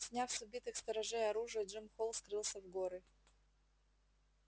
сняв с убитых сторожей оружие джим холл скрылся в горы